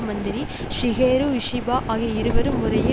மந்திரி Shigeru Ishiba ஆகிய இருவரும் முறையே